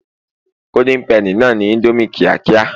golden penny na ni Indomie kiakia